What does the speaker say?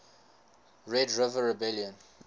red river rebellion